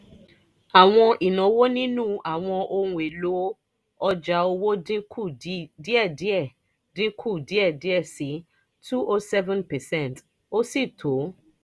àwọn ìnáwó nínú àwọn ohun èlò ọjà owó dín kù díẹ̀díẹ̀ dín kù díẹ̀díẹ̀ sí 207 percent ó sì tó